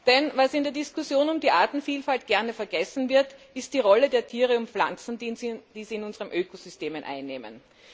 Denn was in der Diskussion um die Artenvielfalt gern vergessen wird, ist die Rolle der Tiere und Pflanzen, die sie in unserem Ökosystem einnehmen.